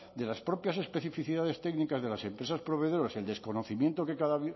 de las propias especificidades técnicas de las empresas proveedoras el desconocimiento que cada